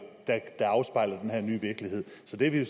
der afspejler den her nye virkelighed så det er vi jo